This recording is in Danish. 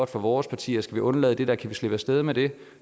for vores parti og skal vi undlade det der kan vi slippe af sted med det